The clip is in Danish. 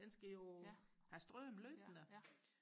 den skal jo have strøm løbende